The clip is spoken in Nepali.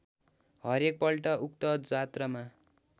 हरेकपल्ट उक्त जात्रामा